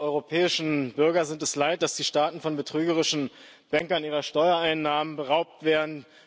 Die europäischen Bürger sind es leid, dass die Staaten von betrügerischen Bänkern ihrer Steuereinnahmen beraubt werden.